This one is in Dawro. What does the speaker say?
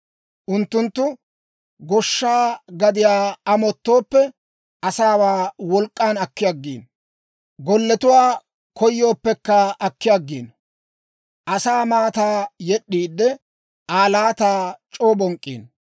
Unttunttu goshsha gadiyaa amottooppe, asaawaa wolk'k'an akki aggiino; golletuwaa koyooppekka akki aggiino. Asaa maataa yed'd'iide, Aa laataa c'oo bonk'k'iino.